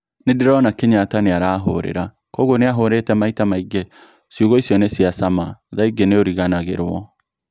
"Nindirona Kenyatta niarahurira, kwoguo niahurite maita maingi, ciugo icio ni cia caama thaa ingi niuriganagitwo."